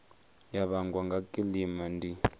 ya vhangwa nga kilima ndi